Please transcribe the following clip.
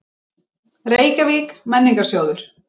Reykjavík: Menningarsjóður.